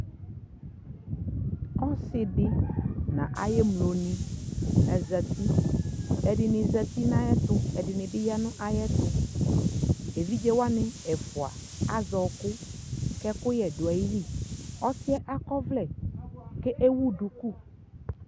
ɔsiidi nʋ ayi ɛmlɔ ni azati, ɛdini zati nʋ ayɛtʋ, ɛdibi yanʋ ayɛtʋ, ɛvidzɛ wani ɛfʋa asɛ ɔkʋ kʋ ɛkʋyɛ dʋ ayili, ɔsiiɛ akɔ ɔvlɛ kʋ ɛwʋ dʋkʋ